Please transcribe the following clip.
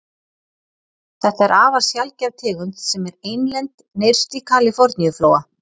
Þetta er afar sjaldgæf tegund sem er einlend nyrst í Kaliforníuflóa.